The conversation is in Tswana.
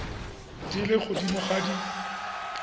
di le godimo ga di